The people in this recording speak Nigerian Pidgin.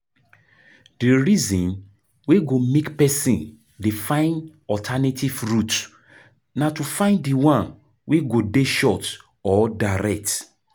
DI reason wey go make person dey find alternative route na to find di one wey go dey short or direct